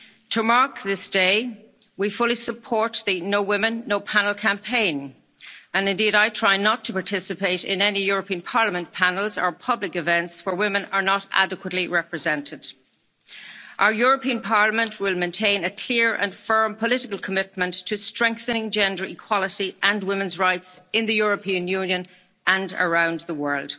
generations. To mark this day, we fully support the No Woman No Panel campaign, and indeed I try not to participate in any European Parliament panels or public events where women are not adequately represented. Our European Parliament will maintain a clear and firm political commitment to strengthening gender equality and women's rights in the European Union and